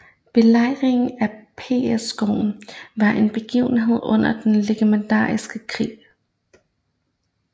Belejringen af Pskov var en begivenhed under den ingermanlandske krig